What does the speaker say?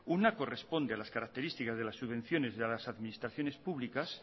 una corresponde a las características de las subvenciones de las administraciones públicas